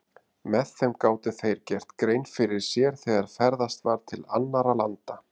Með þeim gátu þeir gert grein fyrir sér þegar ferðast var til annarra landa.